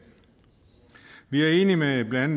vi er enige med blandt